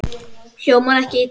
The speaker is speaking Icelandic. Hljómar ekki illa.